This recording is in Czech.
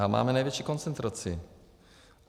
A máme největší koncentraci.